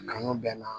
Kanu bɛ n na